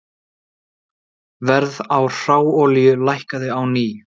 Verð á hráolíu lækkaði á ný